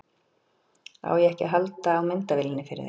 Á ég ekki að halda á myndavélinni fyrir þig?